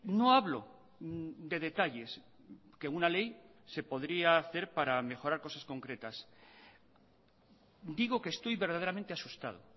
no hablo de detalles que una ley se podría hacer para mejorar cosas concretas digo que estoy verdaderamente asustado